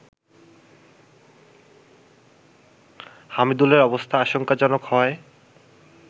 হামিদুলের অবস্থা আশঙ্কাজনক হওয়ায়